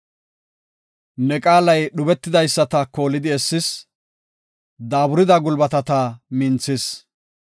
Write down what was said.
Ne qaalay dhubetidaysata koolidi essis; daaburida gulbatata minthis.